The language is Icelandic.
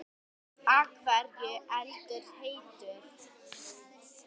Af hverju er eldur heitur?